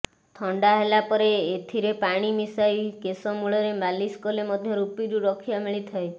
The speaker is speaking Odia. ଥଣ୍ଡା ହେଲା ପରେ ଏତିରେ ପାଣି ମିଶାଇ କେଶମୂଳରେ ମାଲିସ୍ କଲେ ମଧ୍ୟ ରୁପିରୁ ରକ୍ଷା ମିଳିଥାଏ